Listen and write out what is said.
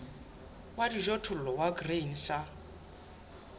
wa dijothollo wa grain sa